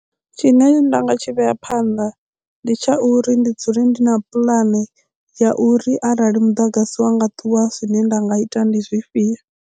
Tshine nda nga tshi vhea phanḓa ndi tsha uri ndi dzule ndi na puḽane ya uri arali muḓagasi wa nga ṱuwa zwine nda nga ita ndi zwifhio.